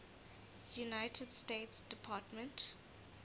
united states department